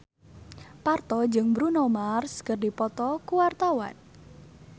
Parto jeung Bruno Mars keur dipoto ku wartawan